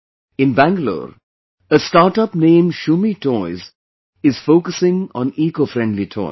In Bangalore, a startup named Shumme Toys is focusing on ecofriendly toys